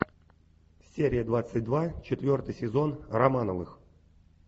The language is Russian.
серия двадцать два четвертый сезон романовых